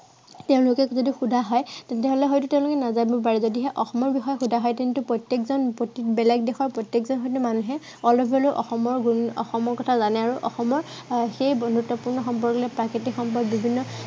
তেওঁলোকক যদি সুধা হয় তেন্তে হলে হয়তো তেওঁলোকে নাজানিব পাৰে, কিন্তু আহ তেওঁলোকক অসমৰ বিষয়ে সুধা হয় তেন্তে প্ৰত্য়েকজন বেলেগ দেশৰ প্ৰত্য়েকজন হয়তো মানুহে অলপ হলেও অসমৰ গুণ, অসমৰ কথা জানে আৰু অসমৰ সেই বন্ধুত্বপূৰ্ণ সম্পৰ্কৰ লগতে প্ৰাকৃতিক সম্পদ বিভিন্ন